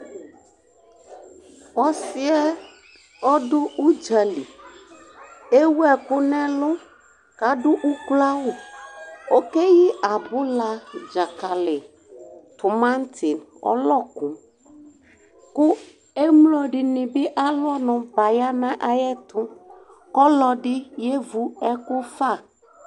Ɔsɩ yɛ ɔdʋ ʋdzǝli Ewu ɛkʋ nʋ ɛlʋ, kʋ adu ukloawu Okeyi abula, dzakali, tʋmaŋtɩ, ɔlɔkʋ, kʋ emlo nɩ bɩalu ɔnʋ baya nʋ ayʋ ɛtʋ Ɔlɔdɩ yevu ɛkʋ fa